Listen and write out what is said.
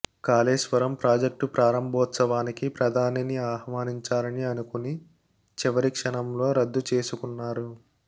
Kaleshwaram project ప్రారంభోత్సవానికి ప్రధానిని ఆహ్వానించాలని అనుకుని చివరిక్షణంలో రద్దు చేసుకున్నారు